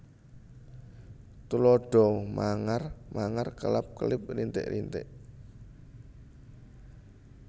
Tuladha mangar mangar kelap kelip rintik rintik